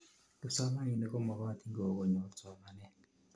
kipsomaninik komokotin kokonyot somanet